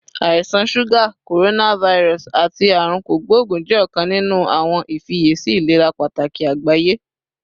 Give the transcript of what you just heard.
Àisan suga, coronavirus, ati Aarun Kogbogun jẹ ọkan ninu awọn ifiyesi ilera pataki agbaye